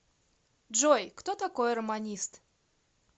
джой кто такой романист